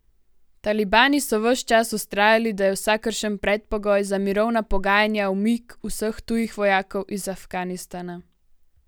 Talibani so ves čas vztrajali, da je vsakršen predpogoj za mirovna pogajanja umik vseh tujih vojakov iz Afganistana.